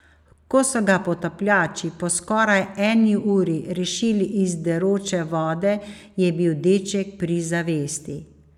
Ko so ga potapljači po skoraj eni uri rešili iz deroče vode, je bil deček pri zavesti.